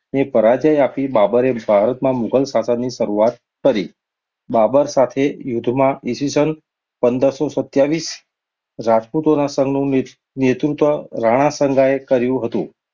ને પરાજય બાબરે ભારત ના મુઘલ શાસનની શરૂઆત કરી. બાબર સાથે યુદ્ધમાં ઈ. સ. પંદરસો સત્યાવીસ રાજ્પુતોના સન્ધનું ને~નેતૃત્વ રાણાસાંગાએ કર્યું હતું.